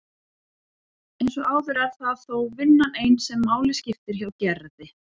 Eins og áður er það þó vinnan ein sem máli skiptir hjá Gerði.